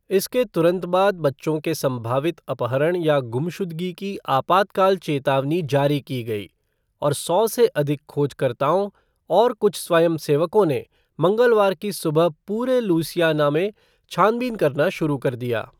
इसके तुरंत बाद बच्चों के सम्भावित अपहरण या गुमशुदगी की आपातकाल चेतावनी जारी की गई, और सौ से अधिक खोजकर्ताओं और कुछ स्वयंसेवकों ने मंगलवार की सुबह पूरे लुइसियाना में छानबीन करना शुरू कर दिया।